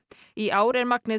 í ár er magnið